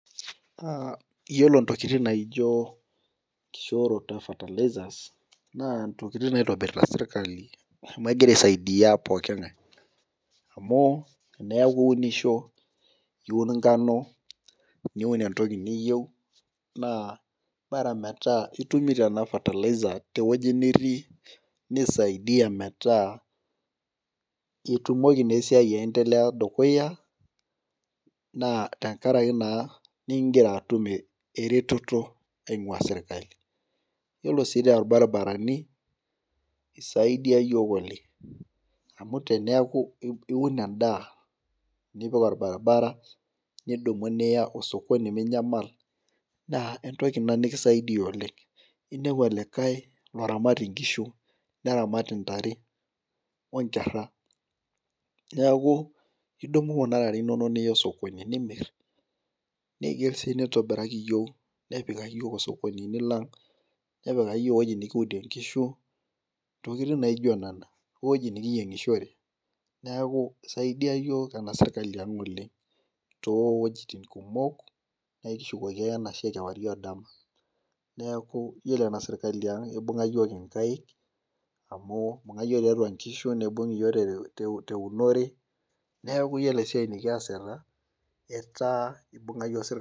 iyiolo ntokitin naajio enkishoroto e fertilizers naa intokitin naaitobirita serikali amu kegira aisaidia poking'ae amu teneeku iunisho iun enkano , niun entoki niyieu naa bora metaa itumito ena fertilizer teweji nitii nisaidia metaa ketumoki naa esiai ayendelea dukuya naa igira atum erototo ing'ua serkali , iyiolo sii too baribarani naa isaidiaya iyiok oleng' amu teneeku iun edaa nipik orbaribara nidumu niya osokoni minyamal naa entoki ina nikisaidia oleng' , ninepu olikae loramat inkishu , neramat intare onkera ,neeku idumu kuna tare inonok niya sokoni nimir, neyieu sii napikaki iyiok osokoni nepikaki iyiok eweji nkiudie inkishu itokiti naijio nena eweji nikiyieng' shore isaidia iyiok ena sirkali ang' oleng' too wejitin kumok neeku ekishukoki ake enashe kewarie odama iyiolo ena sirkaliang ibung'a iyiok inkaik amu ibung'a iyiok tiatua inkishu , tiatua nibung' iyiok teunore neeku iyiolo enasiai nikiasita etaa ibung'a iyiok sirkali.